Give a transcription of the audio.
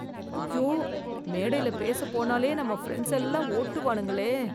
அய்யோ, மேடைல பேச போனாலே நம்ம ஃபிரண்ட்ஸ் எல்லாரும் ஓட்டுவானுங்களே.